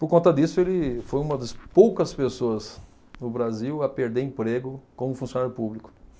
Por conta disso, ele foi uma das poucas pessoas no Brasil a perder emprego como funcionário público.